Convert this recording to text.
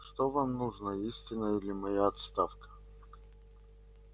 что вам нужно истина или моя отставка